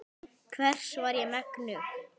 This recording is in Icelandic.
Hvers ég var megnug.